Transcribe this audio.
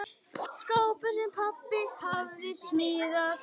Skápur, sem pabbi hafði smíðað.